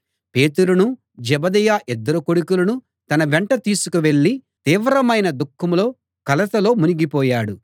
పేతురును జెబెదయి ఇద్దరు కొడుకులను తన వెంట తీసుకు వెళ్ళి తీవ్రమైన దుఃఖంలో కలతలో మునిగిపోయాడు